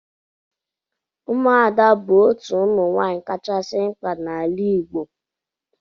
Ụmụada bụ otu ụmụ nwaanyị kachasị mkpa n'ala Igbo